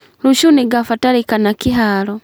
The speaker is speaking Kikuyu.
Rũciũ nĩngabatarikana kĩharo